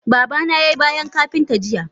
Babana yai bayan Kapinta jiya.